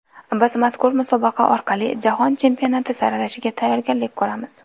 Biz mazkur musobaqa orqali Jahon Chempionati saralashiga tayyorgarlik ko‘ramiz.